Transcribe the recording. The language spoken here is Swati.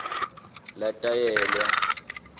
latalelwa